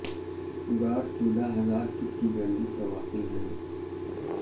غار چودھا ہزار فٹ کی بلندی پر واقع ہیں